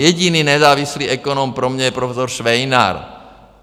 Jediný nezávislý ekonom pro mě je profesor Švejnar.